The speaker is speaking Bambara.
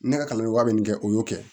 Ne ka kalan bɛ min kɛ o y'o kɛ